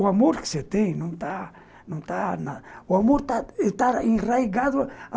O amor que você tem não está...não está na... O amor está enraigado.